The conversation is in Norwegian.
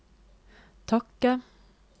takke